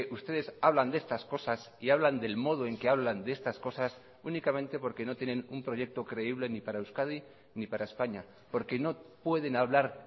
ustedes hablan de estas cosas y hablan del modo en que hablan de estas cosas únicamente porque no tienen un proyecto creíble ni para euskadi ni para españa porque no pueden hablar